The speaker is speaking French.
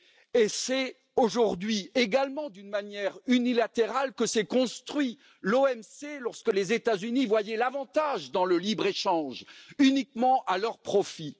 Et c'est aujourd'hui également d'une manière unilatérale que s'est construite l'OMC, lorsque les États Unis voyaient l'avantage dans le libre échange uniquement à leur profit.